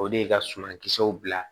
O de ye ka suma kisɛw bila